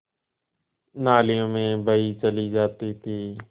नालियों में बही चली जाती थी